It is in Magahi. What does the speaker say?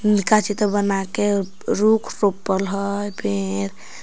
काची तो बनाके रुख रोपल हय पेड़ --